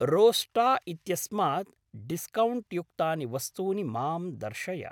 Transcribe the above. रोस्टा इत्यस्मात् डिस्कौण्ट्युक्तानि वस्तूनि मां दर्शय।